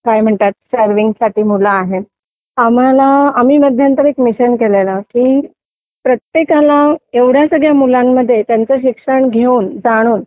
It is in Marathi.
काय म्हणतात सर्विंग साठी मुल आहेत आम्हाला आम्ही मध्यंतरी एक मिशन केलेलं की प्रत्येकाला एवढं सगळ्या मुलांमध्ये त्यांचं शिक्षण घेऊन जाणून